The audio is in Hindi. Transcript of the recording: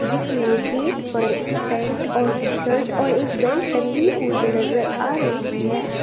जिसमें गेट पर पैंट और टी-शर्ट और एक बेल्ट टंगी हुई नजर आ रही है।